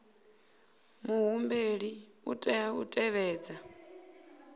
muhumbeli u tea u tevhedza